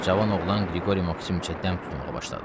Cavan oğlan Qriqori Maksimiçə dəm tutmağa başladı.